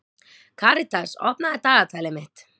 Karitas, opnaðu dagatalið mitt.